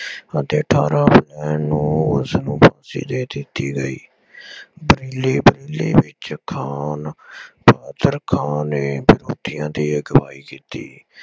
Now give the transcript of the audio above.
ਅਤੇ ਅਠਾਰਾਂ ਅਪ੍ਰੈਲ ਨੂੰ ਉਸਨੂੰ ਫਾਂਸੀ ਦੇ ਦਿੱਤੀ ਗਈ। ਬਦਲੇ ਵਿੱਚ ਖਾਂ ਬਹਾਦਰ ਖਾਨ ਨੇ ਵਿਰੋਧੀਆਂ ਦੀ ਅਗਵਾਈ ਕੀਤੀ।